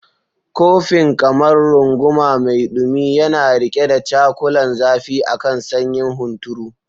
Kofin, kamar runguma mai dumi, yana riƙe da cakulan zafi a kan sanyin hunturu.